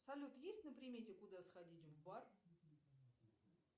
салют есть на примете куда сходить в бар